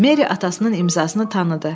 Meri atasının imzasını tanıdı.